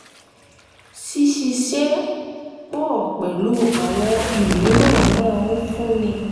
ṣíṣiṣẹ́ pọ̀ pẹ̀lú àwọn míràn máa ń fúnni